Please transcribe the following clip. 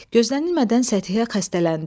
Gözlənilmədən Səthihə xəstələndi.